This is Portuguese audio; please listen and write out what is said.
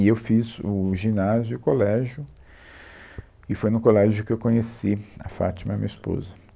E eu fiz o ginásio e o colégio, e foi no colégio que eu conheci a Fátima, minha esposa.